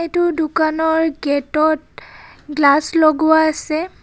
এইটো দোকানৰ গেট ত গ্লাচ লগোৱা আছে.